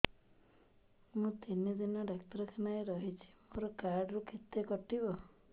ମୁଁ ତିନି ଦିନ ଡାକ୍ତର ଖାନାରେ ରହିଛି ମୋର କାର୍ଡ ରୁ କେତେ କଟିବ